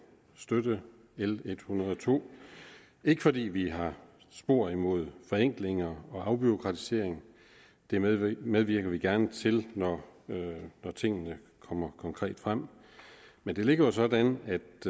støtte l en hundrede og to ikke fordi vi har spor imod forenklinger og afbureaukratisering det medvirker medvirker vi gerne til når tingene kommer konkret frem men det ligger jo sådan